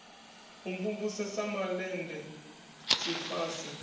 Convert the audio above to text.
u mvumvusa sa malende tshifase